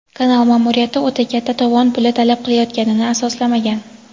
kanal ma’muriyati "o‘ta katta" tovon puli talab qilayotganini asoslamagan.